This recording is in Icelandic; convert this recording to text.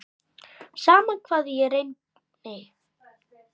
Sama hvað ég reyndi.